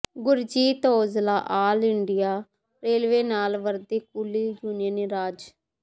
Gurjeet Aujla all India railway ਲਾਲ ਵਰਦੀ coolie union ਰਜਿ